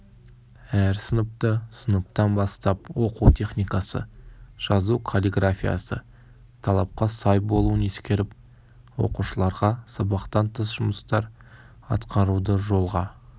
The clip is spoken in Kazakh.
әр сыныпты сыныптан бастап оқу техникасы жазу каллиграфиясы талапқа сай болуын ескеріп оқушыларға сабақтан тыс жұмыстар атқаруды жолға